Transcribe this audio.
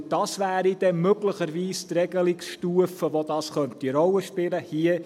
Denn das wäre möglicherweise die Regelungsstufe, auf der das eine Rolle spielen könnte.